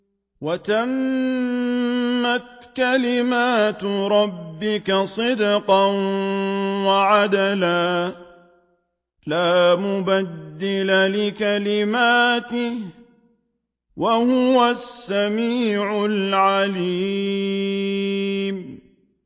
وَتَمَّتْ كَلِمَتُ رَبِّكَ صِدْقًا وَعَدْلًا ۚ لَّا مُبَدِّلَ لِكَلِمَاتِهِ ۚ وَهُوَ السَّمِيعُ الْعَلِيمُ